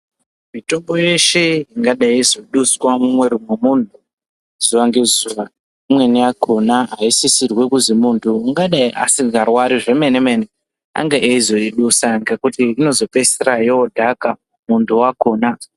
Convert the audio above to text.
Mitombo yeshe ingadai yaizoduswa mumuviri memuntu zuva ngezuva imweni yachona yaisisirwe kuti muntu ungadai asingarwari zvemene mene ange aizoidusa ngekuti inozopedzisira yodhaka muntu wakona .